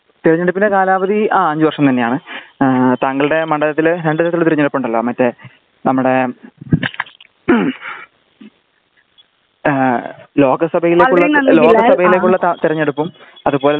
തിരഞ്ഞെടുപ്പിന്റെ കാലാവധി ആ അഞ്ചു വർഷം തന്നെ ആണ് ആ താങ്കളുടെ മണ്ഡലത്തില് രണ്ടു തരത്തിലുള്ള തിരഞ്ഞെടുപ്പ് ഉണ്ടല്ലോ മറ്റെ നമ്മുടെ ലോകസഭയിലേക്കുള്ളതും ലോകസഭയിലേക്കുള്ള തിരഞ്ഞെടുപ്പും അത് പോലെ തന്നെ നമ്മുടെ